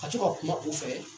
Ka to ka kuma o fɛ.